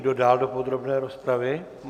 Kdo dál do podrobné rozpravy?